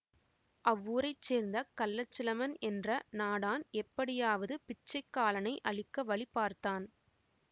அவ்வூரைச் சேர்ந்த கள்ளச்சிலம்பன் என்ற நாடான் எப்படியாவது பிச்சைக்காலனை அழிக்க வழி பார்த்தான்